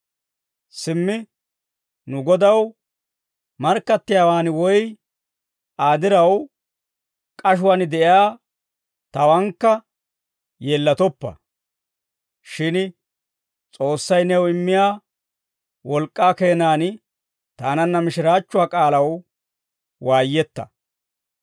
Simmi, nu Godaw markkattiyaawaan woy Aa diraw k'ashuwaan de'iyaa tawaankka yeellatoppa. Shin S'oossay new immiyaa wolk'k'aa keenaan taananna mishiraachchuwaa k'aalaw waayetta.